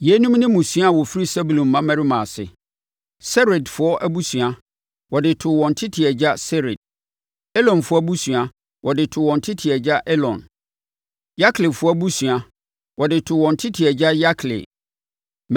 Yeinom ne mmusua a wɔfiri Sebulon mmammarima ase: Seredfoɔ abusua, wɔde too wɔn tete agya Sered. Elonfoɔ abusua, wɔde too wɔn tete agya Elon. Yakleefoɔ abusua, wɔde too wɔn tete agya Yakleel.